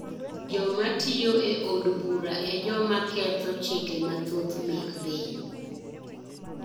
Jo matiyo e od bura e joma ketho chike mathoth mek piny